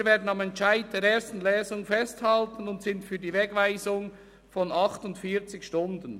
Wir werden am Entscheid der ersten Lesung festhalten und sind für die Wegweisung von 48 Stunden.